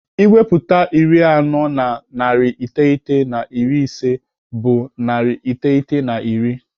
Ewepụta iri anọ na narị iteghete na iri ise bụ narị iteghete na iri.